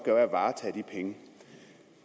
er at varetage de penge